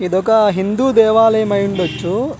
ఇదొక హిందూ దేవాలయం అయిఉండచు .